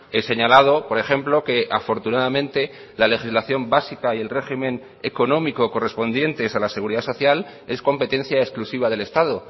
he señalado por ejemplo que afortunadamente la legislación básica y el régimen económico correspondientes a la seguridad social es competencia exclusiva del estado